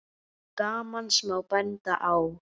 Til gamans má benda á